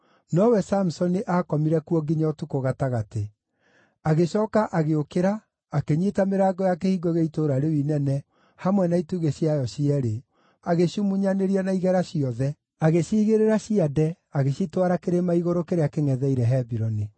Nowe Samusoni aakomire kuo nginya ũtukũ gatagatĩ. Agĩcooka agĩũkĩra akĩnyiita mĩrango ya kĩhingo gĩa itũũra rĩu inene, hamwe na itugĩ ciayo cierĩ, agĩcimunyanĩria na igera ciothe. Agĩciigĩrĩra ciande, agĩcitwara kĩrĩma-igũrũ kĩrĩa kĩngʼetheire Hebironi.